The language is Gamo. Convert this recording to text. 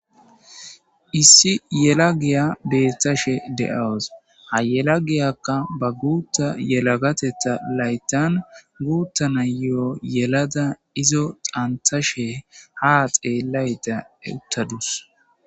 Issi yelagayi betashshe de'awus.haa yelagiyakka baa guththa yelagateththa lauiththanni guththa na'iyo yelada izzo dhaniththashe haa xeelayidda uttaduss.